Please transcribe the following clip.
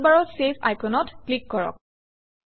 টুলবাৰৰ চেভ আইকনত ক্লিক কৰক